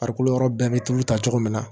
Farikolo yɔrɔ bɛɛ bɛ tulu ta cogo min na